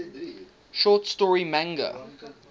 short story manga